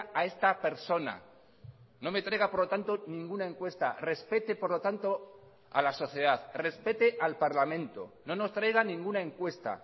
a esta persona no me traiga por lo tanto ninguna encuesta respete por lo tanto a la sociedad respete al parlamento no nos traiga ninguna encuesta